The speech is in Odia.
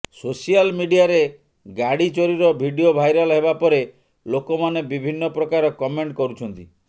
ସୋସିଆଲ ମିଡିଆରେ ଗାଡି ଚୋରୀର ଭିଡିଓ ଭାଇରାଲ ହେବା ପରେ ଲୋକମାନେ ବିଭିନ୍ନ ପ୍ରକାର କମେଣ୍ଟ କରୁଛନ୍ତି